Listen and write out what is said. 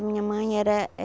Minha mãe era